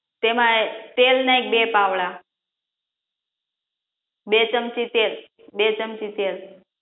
તેમા તેલ નાખ બે પાવડા બે ચમચી તેલ બે ચમચી તેલ